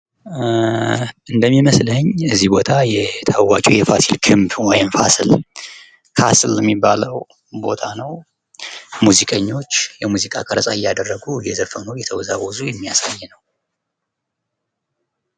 እንደሚመስለኝ እዚህ ቦታ ታዋቂው የፋሲል ግንብ ወይም ፋሲል የሚባለው ቦታ ነው። ሙዚቀኞች የሙዚቃ ቀረጻ እያደረጉ እየዘፈኑ እየተወዘወዙ የሚያሳይ ነው።